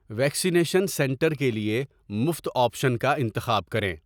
Vaccination centre کے لیے مفت آپشن کا انتخاب کریں۔